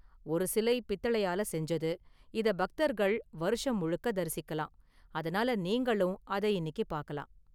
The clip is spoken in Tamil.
ஒரு சிலை பித்தளையால செஞ்சது, இத பக்தர்கள் வருஷம் முழுக்க தரிசிக்கலாம், அதனால நீங்களும் அத இன்னிக்கு பார்க்கலாம்.